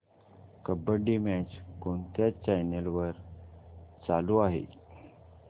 kabaddi match कोणत्या channel वर चालू आहे